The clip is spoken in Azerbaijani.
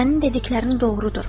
Sənin dediklərin doğrudur.